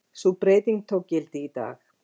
Sú breyting tók gildi í dag